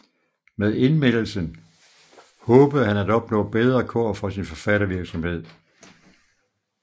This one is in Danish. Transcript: Men indmeldelsen håbede han at opnå bedre kår for sin forfattervirksomhed